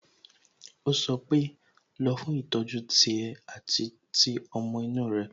Ó sọ pé "Lọ fún ìtọ́jú tiẹ̀ àti ti ọmọ inú rẹ"